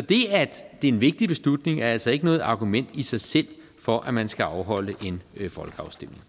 det er en vigtig beslutning er altså ikke noget argument i sig selv for at man skal afholde en folkeafstemning